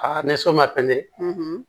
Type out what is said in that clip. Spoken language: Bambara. ni so ma pɛntɛn